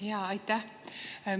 Jaa, aitäh!